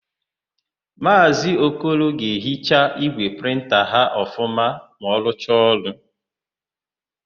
Maazị Okoro ga-ehicha ígwè prịnta ya ọfụma ma ọ rụcha ọrụ.